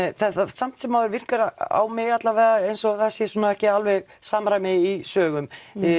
samt sem áður virkar á mig eins og það sé ekki alveg samræmi í sögum